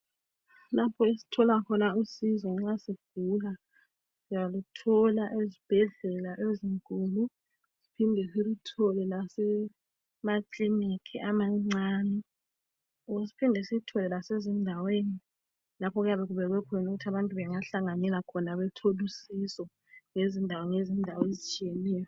Lapho esithola khona usizo nxa sigula. Siyaluthola ezibhedlela ezinkulu siphinde siluthole lasemaclinic amancane. Wo siphinde siluthole lasezindaweni lapho okuyabe kubekwe khona ukuthi abantu bengahlanganela khona bethole usizo ngezindawo ngezindawo ezitshiyeneyo.